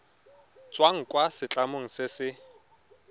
tswang kwa setlamong se se